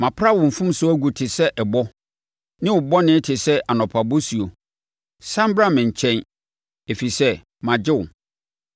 Mapra wo mfomsoɔ agu te sɛ ɛbɔ ne wo bɔne te sɛ anɔpa bosuo. Sane bra me nkyɛn, ɛfiri sɛ magye wo.”